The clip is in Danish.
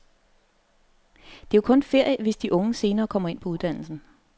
Det er jo kun ferie, hvis de unge senere kommer ind på uddannelsen.